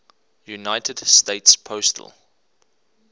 united states postal